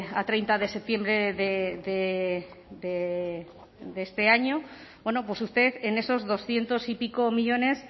a treinta de septiembre de este año pues usted en esos doscientos y pico millónes